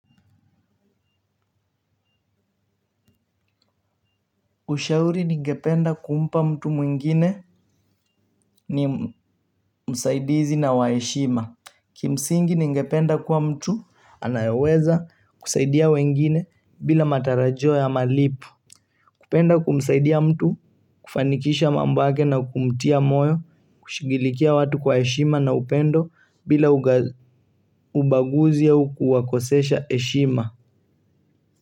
Ushauri ningependa kumpa mtu mwingine ni msaidizi na wa heshima. Kimsingi ningependa kuwa mtu, anayeweza kusaidia wengine bila matarajio ya malipo. Kupenda kumsaidia mtu, kufanikisha mambo yake na kumtia moyo, kushughulikia watu kwa heshima na upendo bila ubaguzi au kuwakosesha heshima.